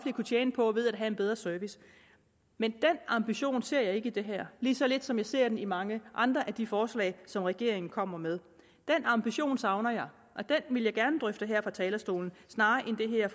kunne tjene på ved at have en bedre service men den ambition ser jeg ikke i det her lige så lidt som jeg ser den i mange andre af de forslag som regeringen kommer med den ambition savner jeg og den vil jeg gerne drøfte her fra talerstolen snarere end det her